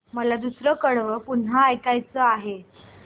मला दुसरं कडवं पुन्हा ऐकायचं आहे